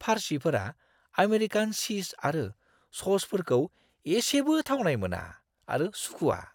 फारसिफोरा American चीज आरो स'सफोरखौ इसेबो थावनाय मोना आरो सुखुवा।